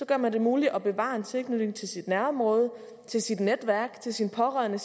gør man det muligt at bevare en tilknytning til sit nærområde til sit netværk til sine pårørende